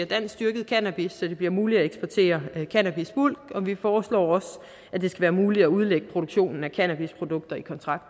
danskdyrket cannabis så det bliver muligt at eksportere cannabisbulk og vi foreslår også at det skal være muligt at udlægge produktionen af cannabisprodukter i kontrakt